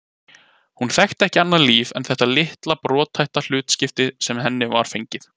Hún þekkti ekki annað líf en þetta litla brothætta hlutskipti sem henni var fengið.